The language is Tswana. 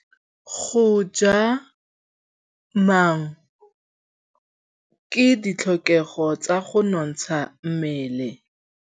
Go ja maungo ke ditlhokegô tsa go nontsha mmele.